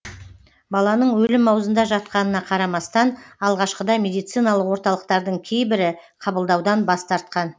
баланың өлім аузында жатқанына қарамастан алғашқыда медициналық орталықтардың кейбірі қабылдаудан бас тартқан